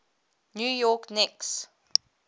new york knicks